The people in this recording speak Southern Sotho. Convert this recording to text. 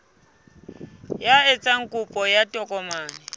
ya etsang kopo ya tokomane